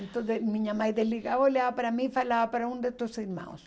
Então minha mãe desligava, olhava para mim e falava para um de seus irmãos.